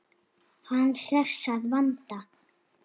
Hann hress að vanda.